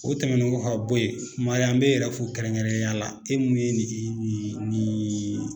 O tɛmɛnen ko ka bo ye kumare an be yɛrɛ fo kɛrɛnkɛrɛnnenya la e mun ye nin nin nin